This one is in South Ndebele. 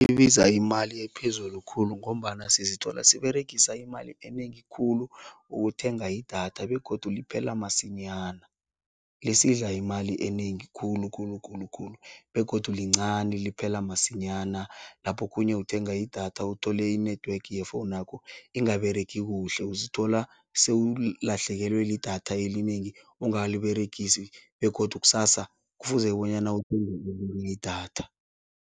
Ibiza imali ephezulu khulu ngombana sizithola siberegisa imali enengi khulu ukuthenga idatha begodu liphela masinyana, lisidla imali enengi khulu khulu khulu khulu begodu lincani liphela masinyana. Lapho okhunye uthenga idatha uthole i-network yefowunakho ingaberegi kuhle, uzithola sewulahlekelwe lidatha elinengi ongakaliberegisi begodu kusasa kufuze bonyana uthenge elinye idatha.